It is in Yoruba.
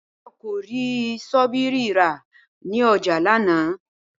Báyò̩ kò rí s̩óbìrì rà ní o̩jà lánàá